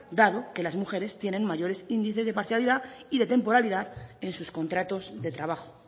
dado que las mujeres tienen mayores índices de parcialidad y de temporalidad en sus contratos de trabajo